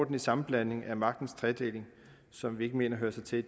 en sammenblanding af magtens tre dele som vi ikke mener hører sig til i